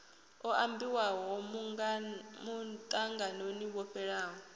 o ambiwaho muṱanganoni wo fhelaho